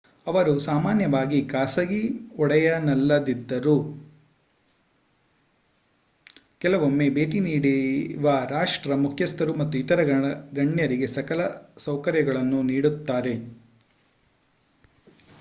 ಅವರು ಸಾಮಾನ್ಯವಾಗಿ ಖಾಸಗಿ ಒಡೆತನದಲ್ಲಿದ್ದರೂ ಕೆಲವೊಮ್ಮೆ ಭೇಟಿ ನೀಡುವ ರಾಷ್ಟ್ರ ಮುಖ್ಯಸ್ಥರು ಮತ್ತು ಇತರ ಗಣ್ಯರಿಗೆ ಸಕಲ ಸೌಕರ್ಯಗಳನ್ನು ನೀಡುತ್ತಾರೆ